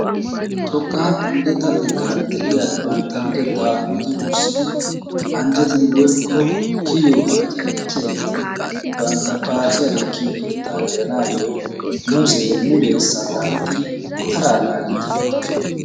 xoqqa luxetaa xekkan de'iya bantta luxxettaa luxxi wurssidi anjjetidi woykko kiyiyo paacciya ekkiyaageti bantta paaciya ekkiyo keetta gelanaayo mulee salapettidi taraa naagiidi beetoosona.